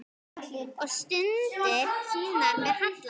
Og stundir sínar með Halla.